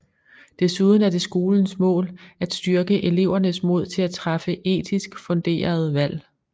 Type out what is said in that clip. Desuden er det skolens mål at styrke elevernes mod til at træffe etisk funderede valg